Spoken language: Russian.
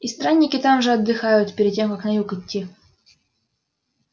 и странники там же отдыхают перед тем как на юг идти